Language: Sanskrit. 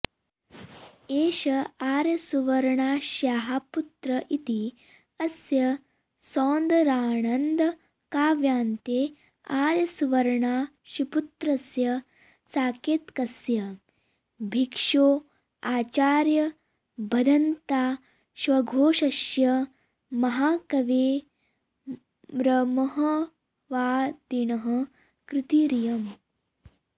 एष आर्यसुवर्णाक्ष्याः पुत्र इति अस्य सौन्दरानन्दकाव्यान्ते आर्यसुवर्णाक्षीपुत्रस्य साकेतकस्य भिक्षोराचार्यभदन्ताश्वघोषस्य महाकवेर्महावादिनः कृतिरियम्